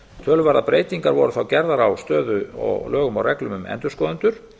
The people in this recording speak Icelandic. töluverðar breytingar voru gerðar á stöðu og lögum og reglum um endurskoðendur